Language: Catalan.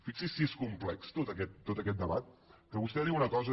fixi’s si és complex tot aquest debat que vostè diu una cosa